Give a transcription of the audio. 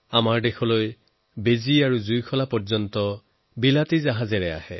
অৰ্থাৎ আমাৰ ইয়াত বেজী আৰু দিয়াচলাই পৰ্যন্ত বিলাতী জাহাজেৰে আহে